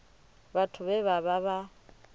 vhathu vhe vha vha vha